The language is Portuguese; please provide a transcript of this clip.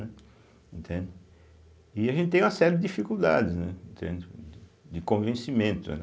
Entende. E a gente tem uma série de dificuldades, né, entende, de de convencimento, né.